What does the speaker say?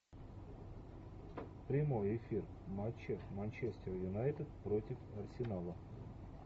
прямой эфир матча манчестер юнайтед против арсенала